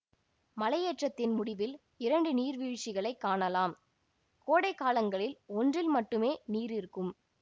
மலையேற்றத்தின் முடிவில் இரண்டு நீர்வீழ்ச்சிகளை காணலாம் கோடைக்காலங்களில் ஒன்றில் மட்டுமே நீர் இருக்கும்